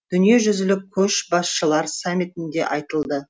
дүниежүзілік көшбасшылар саммитінде айтылды